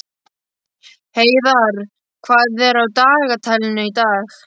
Heiðarr, hvað er á dagatalinu í dag?